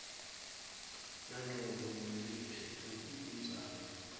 nanobe nguluphi ludzaba